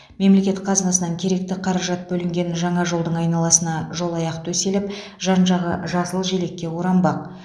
мемлекет қазынасынан керекті қаражат бөлінген жаңа жолдың айналасына жолаяқ төселіп жан жағы жасыл желекке оранбақ